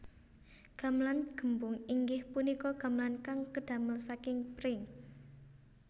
Gamelan gembung inggih punika gamelan kang kedamel saking pring